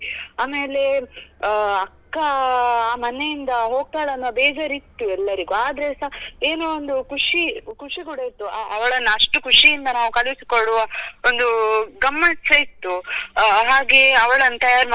ಆಮೇಲೆ ಆ ಅಕ್ಕಾ ಮನೆಯಿಂದ ಹೋಗ್ತಾಳೆ ಅನ್ನೋ ಬೇಜಾರ್ ಇತ್ತು ಎಲ್ಲರಿಗು ಅದ್ರೇಸ ಏನೋ ಒಂದು ಖುಷಿ ಖುಷಿ ಕೂಡ ಇತ್ತು ಅ~ ಅವಳನ್ನು ಅಷ್ಟು ಖುಷಿಯಿಂದ ನಾವು ಕಳಿಸಿ ಕೊಡುವ ಒಂದೂ ಗಮ್ಮತ್ ಸ ಇತ್ತು ಹಾಗೆ ಅವಳನ್ನು ತಯಾರು ಮಾಡುದು ಆಗಿರಬಹುದು.